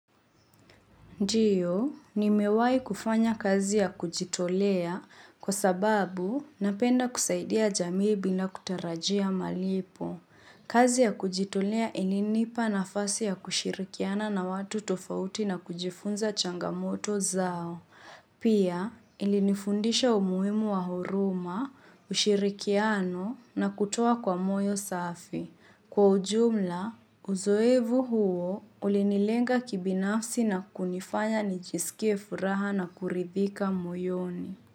Ndiyo, ni mewahi kufanya kazi ya kujitolea kwa sababu napenda kusaidia jamii bila kutarajia malipo. Kazi ya kujitolea ilinipa na fasi ya kushirikiana na watu tofauti na kujifunza changamoto zao. Pia, ilinifundisha umuimu wa huruma, ushirikiano na kutua kwa moyo safi. Kwa ujumla, uzoevu huo ulinilenga kibinafsi na kunifanya nijisikie furaha na kuridhika moyoni.